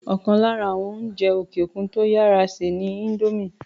ọ̀kan lára àwọn oúnjẹ òkè òkun tó yàrá sè ni índómì